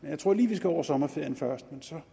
jeg tror vi lige skal over sommerferien først men så